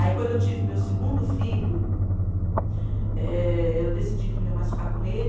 Aí quando eu tive meu segundo filho, eh, eu decidi que não ia mais ficar com ele.